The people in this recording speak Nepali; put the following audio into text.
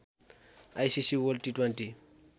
ICC world T twenty